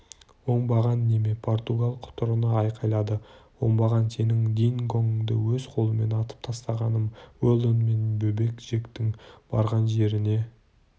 оңбаған неме португал құтырына айқайлады оңбаған сенің дингоңды өз қолыммен атып тастағамын уэлдон мен бөбек джектің барған жеріне